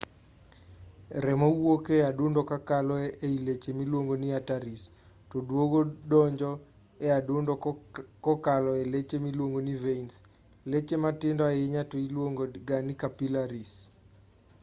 remo wuok e adundo kakalo ei leche miluongo ni arteries to duogo donjo e adundo kokalo ei leche miluongo ni veins leche matindo ahinya to iluongo ga ni capillaries